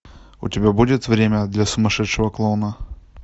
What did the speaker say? у тебя будет время для сумасшедшего клоуна